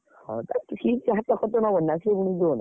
ହଁ ଯେ ସେ ତା ଖର୍ଚ ନବନି ନା ସେ ପୁଣି ଯିବ ନା।